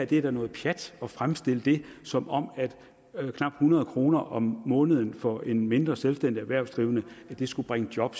det er noget pjat at fremstille det som om knap hundrede kroner om måneden for en mindre selvstændig erhvervsdrivende skulle bringe job